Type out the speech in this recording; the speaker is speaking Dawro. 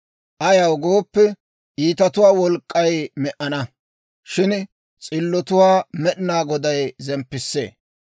Ayaw gooppe, iitatuwaa wolk'k'ay me"ana; shin s'illotuwaa Med'inaa Goday zemppissee.